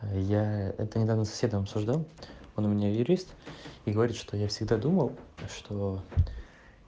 а я это недавно с соседом обсуждал он у меня юрист и говорит что я всегда думал что